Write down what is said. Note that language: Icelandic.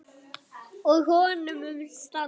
Og honum mun standa.